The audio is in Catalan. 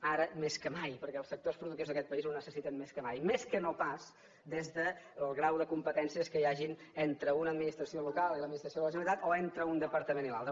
ara més que mai perquè els sectors productius d’aquest país ho necessiten més que mai més que no pas des del grau de competències que hi hagin entre una administració local i l’administració de la generalitat o entre un departament i l’altre